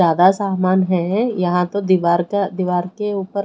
ज्यादा सामान है यहाँ तो दीवार का दीवार के उपर--